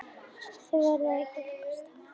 Þið verðið að hjálpast að.